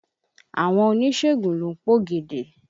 Àwọn oníṣègùn ló ń pògèdè.